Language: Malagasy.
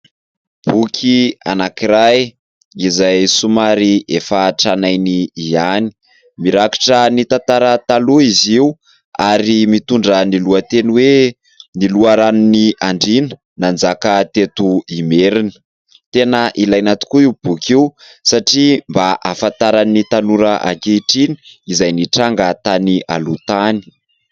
Boky anankiray izay somary efa tranainy ihany mirakitra ny tantara taloha izy io ary mitondra ny lohateny hoe ny loharanon'ny andriana nanjaka teto merina, tena ilaina tokoa io boky io satria mba hafantaran'ny tanora ankehitriny izay nitranga tany aloha tany.